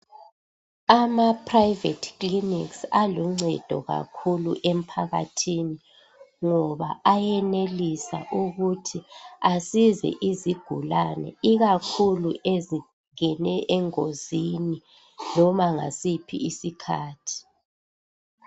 Ama private clinics aluncedo kakhulu emphakathini ngoba ayenelisa ukuthi asize izigulane ikakhulu ezingene engozini loba ngasiphi isikhathi.